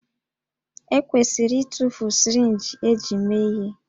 E kwesịrị ịtụfu sirinji eji mee ihe